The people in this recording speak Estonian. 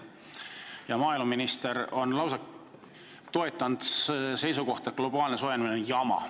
Ja tulevane maaeluminister on lausa toetanud seisukohta, et globaalne soojenemine on jama.